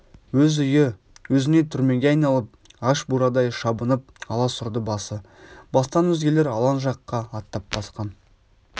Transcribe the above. өз үйі өзіне түрмеге айналып аш бурадай шабынып аласұрды басы бостан өзгелер алаң жаққа аттап басқан